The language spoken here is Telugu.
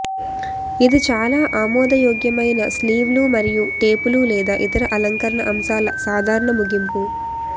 ఇది చాలా ఆమోదయోగ్యమైన స్లీవ్లు మరియు టేపులు లేదా ఇతర అలంకరణ అంశాల సాధారణ ముగింపు